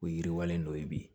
O yiriwalen dɔ ye bi